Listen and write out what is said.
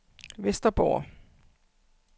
Vesterborg